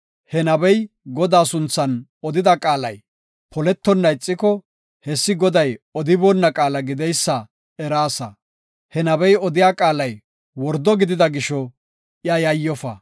he nabey Godaa sunthan odida qaalay poletonna ixiko, hessi Goday odiboonna qaala gideysa eraasa. He nabey odiya qaalay wordo gidida gisho iya yayyofa.